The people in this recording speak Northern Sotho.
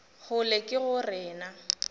kgolo ke go re na